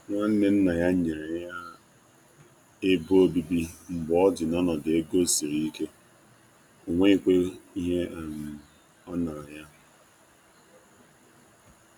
um Nwanne Nwanne nna ya nyere nkwado ụlọ um n'oge ego siri ike n'enweghị iwu ọnyere ha.